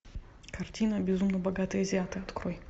картина безумно богатые азиаты открой